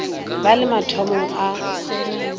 ba le mo mathomong a